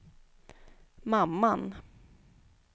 mamman